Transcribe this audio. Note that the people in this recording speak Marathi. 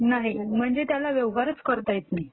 नाही म्हणजे त्याला व्यवहारचं करता येत नाही..